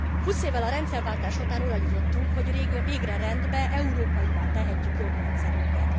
Húsz évvel a rendszerváltás után oda jutottunk, hogy végre rendbe, európaivá tehetjük jogrendszerünket.